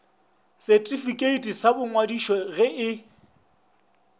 setifikeiti sa boingwadišo ge e